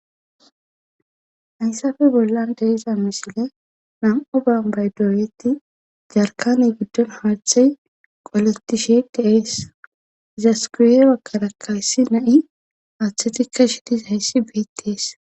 Hayssafe bollan deiza misile nam7o bambay dooyeti jarkane giddon haarthay qoletishe deees zaskuuye wakkarakkayssi na7i aaththetikka shitis hayssi beettees